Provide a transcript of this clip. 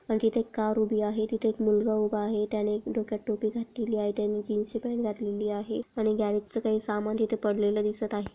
आणि तिथे एक कार उभी आहे तिथे एक मुलगा उभा आहे. त्याने डोक्यात टोपी घातलेली आहे. त्याने जीन्स ची पॅंट घातलेली आहे आणि ग्यारेज च काही समान तिथ पडलेल दिसत आहे.